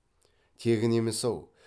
тегін емес ау